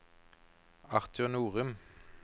Arthur Norum